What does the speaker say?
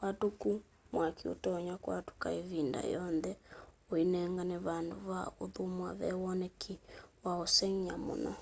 watũku wa mwaki ũtonya kwatũka ĩvinda o yonthe ũnenganae vandũ va ũthũmũa ve woneki wa'ũsengy'a mũno